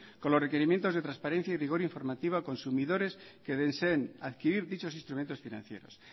con los requerimientos de transparencia y rigor informativo a consumidores que deseen adquirir dichos instrumentos financieros